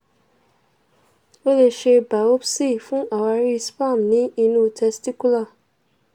o lè ṣe biopsi fún àwáàrí sperm ní inú testicular